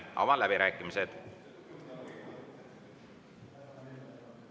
Avan läbirääkimised.